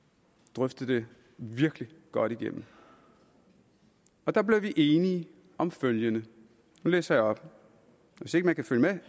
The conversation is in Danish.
drøftede det virkelig godt igennem og der blev vi enige om følgende og nu læser jeg op hvis ikke man kan følge